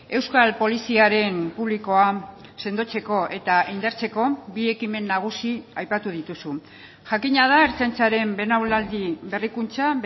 euskal poliziaren publikoa sendotzeko eta indartzeko bi ekimen nagusi aipatu dituzu jakina da ertzaintzaren belaunaldi berrikuntza